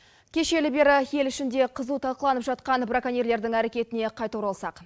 кешелі бері ел ішінде қызу талқыланып жатқан браконьерлердің әрекетіне қайта оралсақ